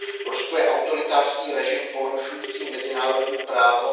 Rusko je autoritářský režim porušující mezinárodní právo.